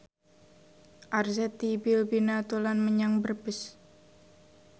Arzetti Bilbina dolan menyang Brebes